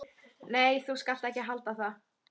Nei, þú skalt ekki halda það!